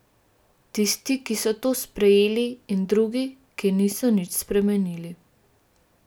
Tisti, ki so to sprejeli, in drugi, ki niso nič spremenili.